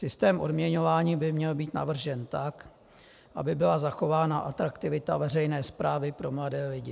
Systém odměňování by měl být navržen tak, aby byla zachována atraktivita veřejné správy pro mladé lidi.